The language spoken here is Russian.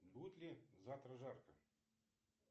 будет ли завтра жарко